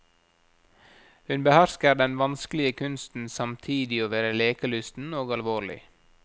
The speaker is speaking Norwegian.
Hun behersker den vanskelige kunsten samtidig å være lekelysten og alvorlig.